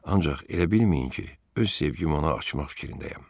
Ancaq elə bilməyin ki, öz sevgimi ona açmaq fikrindəyəm.